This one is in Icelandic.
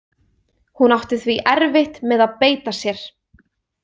Hún átti því erfitt með að beita sér.